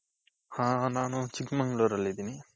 ಹ ನಾನು ಚಿಕ್ಕಮಂಗಳೂರಲ್ಲಿದ್ದೀನಿ.